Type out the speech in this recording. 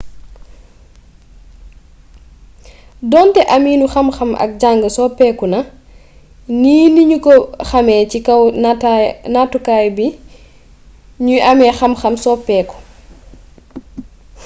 donté aminu xamxam ak jàng soppékuna ni niñu ko xamé ci kaw nattukaay bi ñuy amé xamxam soppeeku